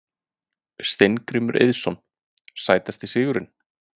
Steingrímur Eiðsson Sætasti sigurinn?